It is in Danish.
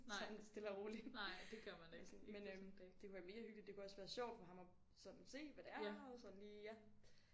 Sådan stille og roligt eller sådan men øh det kunne være mega hyggeligt det kunne også være sjovt for ham at sådan se hvad det er og sådan lige ja